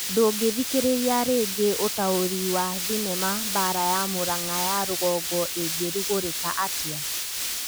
Ndũngĩthikĩrĩria rĩngĩ ũtaũri wa thinema Mbara ya Mũrang'a ya rũgongo ĩngĩrugorĩka atĩa?